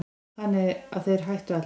Þannig að þeir hættu allir.